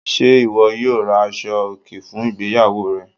Ṣé iwọ yóò rá àṣọ̀-ọkè fún ìgbéyàwó rẹ?